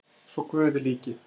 svo Guði líki